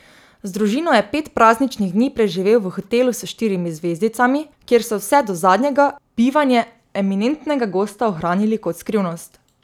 Z družino je pet prazničnih dni preživel v hotelu s štirimi zvezdicami, kjer so vse do zadnjega bivanje eminentnega gosta ohranili kot skrivnost.